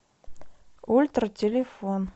ультра телефон